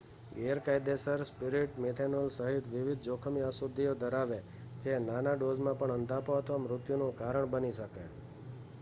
ગેરકાયદેસર spirit methanol સહિત વિવિધ જોખમી અશુદ્ધિઓ ધરાવે, જે નાના ડોઝમાં પણ અંધાપો અથવા મૃત્યુનું કારણ બની શકે